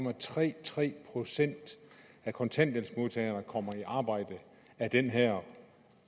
at tre tre procent af kontanthjælpsmodtagerne kommer i arbejde af den her